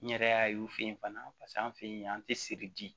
N yɛrɛ y'a ye u fe yen fana paseke an fe yen an te siri bi